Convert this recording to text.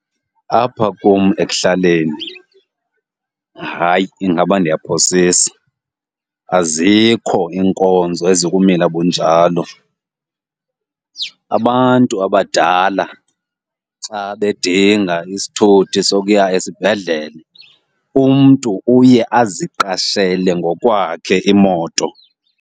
Apha kum ekuhlaleni, hayi, ingaba ndiyaphosisa azikho iinkonzo ezikumila bunjalo. Abantu abadala xa bedinga isithuthi sokuya esibhedlele, umntu uye aziqashele ngokwakhe imoto.